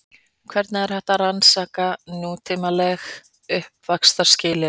Hvernig er hægt að rannsaka nútímaleg uppvaxtarskilyrði?